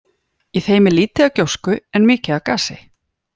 Í þeim er lítið af gjósku en mikið af gasi.